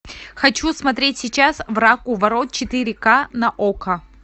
хочу смотреть сейчас враг у ворот четыре ка на окко